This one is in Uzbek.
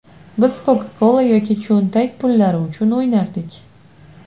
Biz Coca-Cola yoki cho‘ntak pullari uchun o‘ynardik.